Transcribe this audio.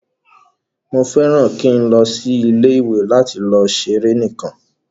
Mo fẹràn ki n lọ sí ilé ìwé lati lọ ṣeré nikan.